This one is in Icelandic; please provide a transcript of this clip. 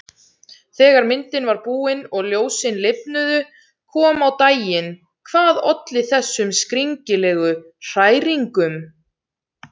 Þegar myndin var búin og ljósin lifnuðu kom á daginn hvað olli þessum skringilegu hræringum.